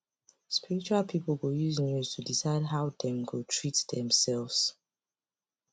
spiritual people go use news to decide how dem go treat themselves